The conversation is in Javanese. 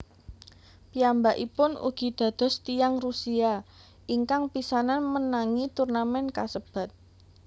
Piyambakipun ugi dados tiyang Rusia ingkang pisanan menangi turnamèn kasebat